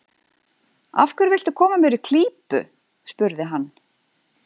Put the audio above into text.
Af hverju viltu koma mér í klípu? spurði hann.